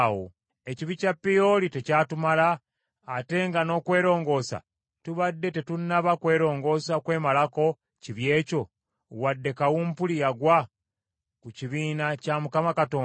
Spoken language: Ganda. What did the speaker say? Ekibi kya Peoli tekyatumala, ate nga n’okwerongoosa tubadde tetunnaba kwerongoosa kwemalako kibi ekyo, wadde kawumpuli yagwa ku kibiina kya Mukama Katonda,